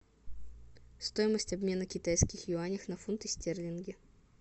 стоимость обмена китайских юаней на фунты стерлинги